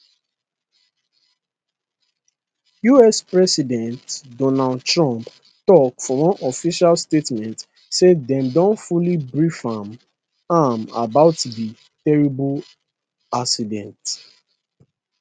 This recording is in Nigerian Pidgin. us president donald trump tok for one official statement say dem don fully brief am am about di terrible accident